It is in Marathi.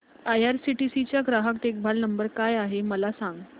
आयआरसीटीसी चा ग्राहक देखभाल नंबर काय आहे मला सांग